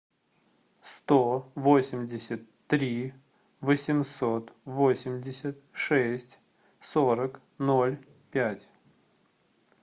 сто восемьдесят три восемьсот восемьдесят шесть сорок ноль пять